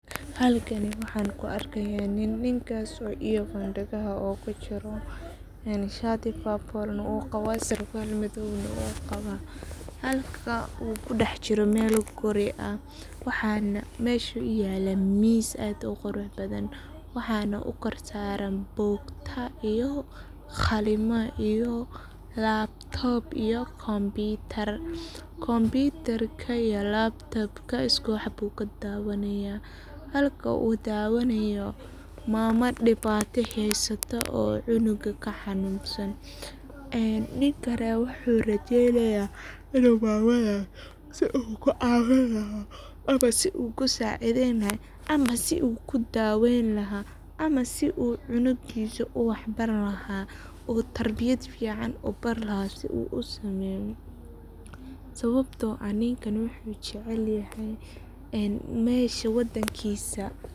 Halkani waxan kuarkayo ,Ninkasi oo earphone dagaha ogu jiro. shati purple uu qabaa ,sarwal madow ah u wataa. Halka uu kudax jira mel guri ah ,waxana mesha u dhex yala miis aad u qurux badan. Waxana u korsaran bugta iyo, qalimo iyo laptop, computer computarka ,lapka ayu tabanaya ,maama dibato heysata oo canuga ka hanunsan. Ninkana wuxu rajeynaya inu maamada si u kucawin laha ,ama si u sacideyn laha, ama si u ku daweyn laha ama si cunugisa u wax bari laha u tarbiyad fican u bari laha si u wax fican u sameyo, sababto ah ani, ninkani wuxu jacel yahay mesha wadankisa.